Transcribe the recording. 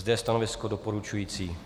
Zde je stanovisko doporučující.